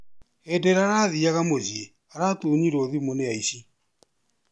Hĩndĩ ĩrĩa arathiaga mũciĩ aratunyirwo thimũ ni aici.